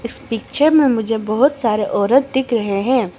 इस पिक्चर में मुझे बहुत सारे औरत दिख रहे हैं।